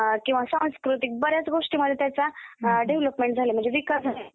Notes काढताय? Notes काढलेल्या आहेत? Very good. त्यानंतर,